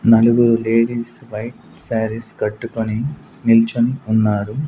నలుగురు ladies white saris కట్టుకొని నిల్చొని ఉన్నారు.